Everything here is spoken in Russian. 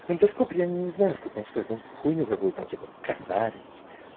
эндоскоп я не знаю сколько он стоит ну хуйню какую-то типа косарь